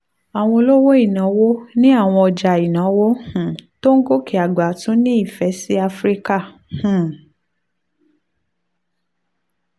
àwọn olówó ìnáwó ní àwọn ọjà ìnáwó um tó ń gòkè àgbà tún ń nífẹ̀ẹ́ sí áfíríkà um